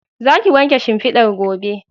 Za ki wanke shimfidan gobe